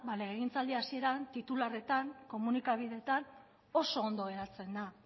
legegintza hasieran titularretan komunikabideetan oso ondo geratzen da